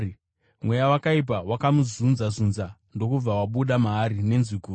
Mweya wakaipa wakamuzunza-zunza ndokubva wabuda maari nenzwi guru.